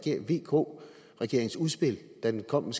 vk regeringens udspil da den kom med